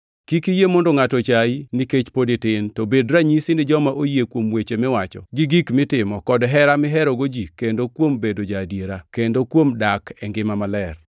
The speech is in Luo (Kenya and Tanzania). Kik iyie mondo ngʼato ochayi nikech pod itin, to bed ranyisi ni joma oyie kuom weche miwacho, gi gik mitimo, kod hera miherogo ji kendo kuom bedo ja-adiera kendo kuom dak e ngima maler.